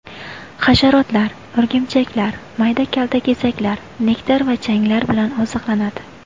Hasharotlar, o‘rgimchaklar, mayda kaltakesaklar, nektar va changlar bilan oziqlanadi.